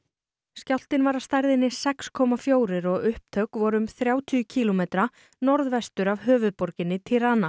skjálftinn var af stærðinni sex komma fjórir og upptök voru um þrjátíu kílómetra norðvestur af höfuðborginni